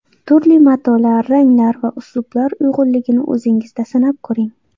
Turli matolar, ranglar va uslublar uyg‘unligini o‘zingizda sinab ko‘ring.